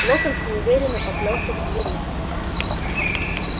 локонс неуверенно поплёлся к двери